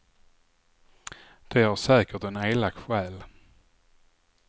Det har säkert en elak själ.